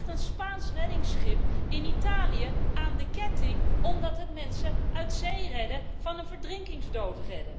Er ligt een Spaans reddingsschip in Italië aan de ketting omdat het mensen uit zee redde van een verdrinkingsdood.